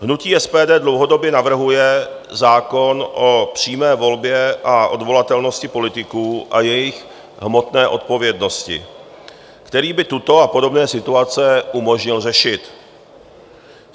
Hnutí SPD dlouhodobě navrhuje zákon o přímé volbě a odvolatelnosti politiků a jejich hmotné odpovědnosti, který by tuto a podobné situace umožnil řešit.